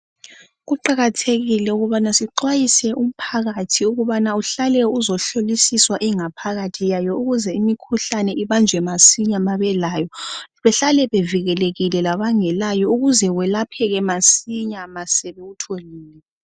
Kuqakathekile ukubana sixwayise umphakathi ukubana uhlale uzohlolisiswa ingaphakathi yayo ukuze imikhuhlane ibanjwe masinya ma belayo, behlale bevikelekile labangelayo ukuze welapheke masinya ma sebewutholile.